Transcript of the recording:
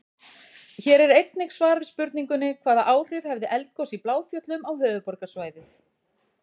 Hér er einnig svar við spurningunni: Hvaða áhrif hefði eldgos í Bláfjöllum á höfuðborgarsvæðið?